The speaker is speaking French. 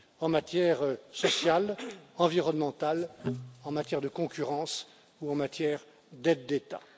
en matière sociale, environnementale, en matière de concurrence ou en matière d'aides d'État.